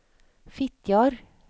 Fitjar